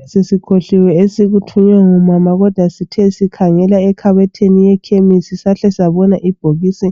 besesikhohliwe esikuthunywe ngumama kodwa sithe sikhangela ekhabothini yekhemesi sahle sabona ibhokisi